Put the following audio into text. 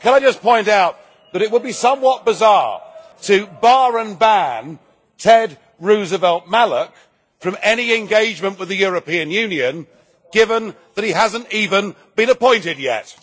Can I just point out that it would be somewhat bizarre to bar and ban Ted Roosevelt Malloch from any engagement with the European Union, given that he hasn't even been appointed yet.